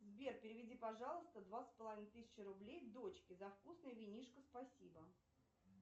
сбер переведи пожалуйста два с половиной тысячи рублей дочке за вкусное винишко спасибо